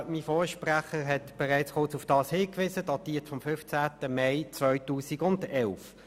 Das heutige Energiegesetz datiert vom 15. Mai 2011.